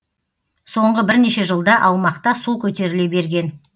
соңғы бірнеше жылда аумақта су көтеріле берген